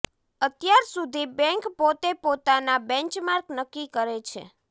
અત્યાર સુધી બેંક પોતે પોતાના બેંચમાર્ક નક્કી કરે છે